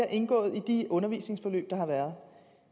indgået i de undervisningsforløb der har været